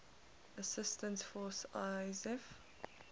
assistance force isaf